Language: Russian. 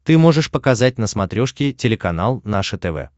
ты можешь показать на смотрешке телеканал наше тв